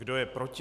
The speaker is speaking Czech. Kdo je proti?